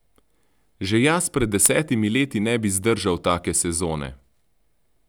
Že jaz pred desetimi leti ne bi zdržal take sezone!